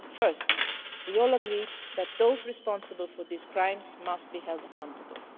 First, we all agreed that those responsible for these crimes must be held accountable.